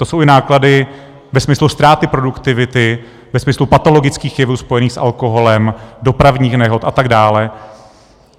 To jsou i náklady ve smyslu ztráty produktivity, ve smyslu patologických jevů spojených s alkoholem, dopravních nehod a tak dále.